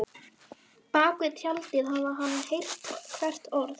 Bak við tjaldið hafði hann heyrt hvert orð.